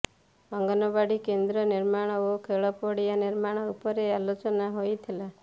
ଅଙ୍ଗନବାଡ଼ି କେନ୍ଦ୍ର ନିର୍ମାଣ ଓ ଖେଳ ପଡିଆ ନିର୍ମାଣ ଉପରେ ଆଲୋଚନା ହୋଇଥିଲା